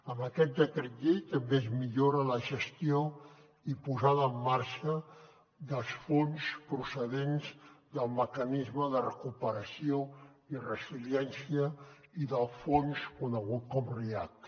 amb aquest decret llei també es millora la gestió i posada en marxa dels fons procedents del mecanisme de recuperació i resiliència i del fons conegut com a react